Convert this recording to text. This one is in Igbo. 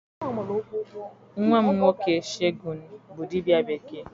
Nwam nwoke Shegun bu dibia bekee.